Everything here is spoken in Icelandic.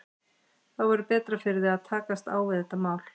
Þá verður betra fyrir þig að takast á við þetta mál.